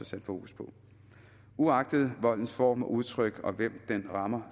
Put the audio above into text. sat fokus på uagtet voldens form og udtryk og hvem den rammer